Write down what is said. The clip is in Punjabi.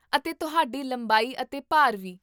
ਅਤੇ ਤੁਹਾਡੀ ਲੰਬਾਈ ਅਤੇ ਭਾਰ ਵੀ